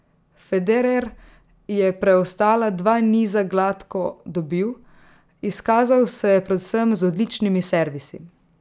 Federer je preostala dva niza gladko dobil, izkazal se je predvsem z odličnimi servisi.